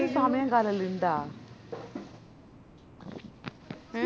ഇതിന് സമയോം കാലോം എല്ലാ ഇണ്ട എ